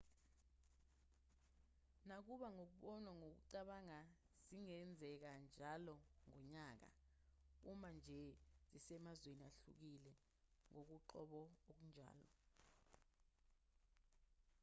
nakuba ngokubonwa ngokucabanga zingenzeka njalo ngonyaka uma nje zisemazweni ahlukile ngokoqobo akunjalo